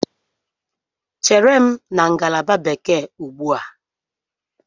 Chere m na ngalaba Bekee ugbu a!